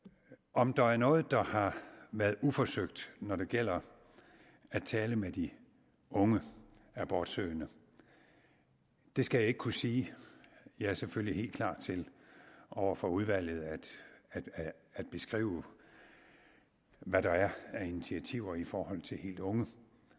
om der er noget der har været uforsøgt når det gælder at tale med de unge abortsøgende skal jeg ikke kunne sige jeg er selvfølgelig helt klar til over for udvalget at beskrive hvad der er af initiativer i forhold til helt unge